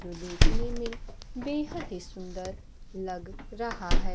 जो देखने में बेहद सुंदर लग रहा है।